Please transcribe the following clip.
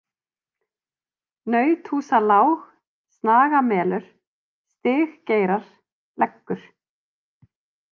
Nauthúsalág, Snagamelur, Stiggeirar, Leggur